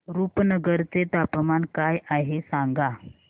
रुपनगर चे तापमान काय आहे सांगा